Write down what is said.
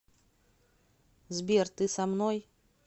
сбер ты со мной